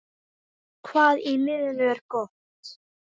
Hvað í liðinu er gott?